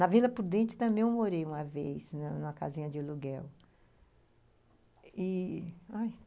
Na Vila Prudente também morei uma vez, né, numa casinha de aluguel e... ai